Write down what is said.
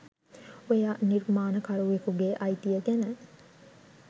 ඔයා නිර්මාණ කරුවෙකුගේ අයිතිය ගැන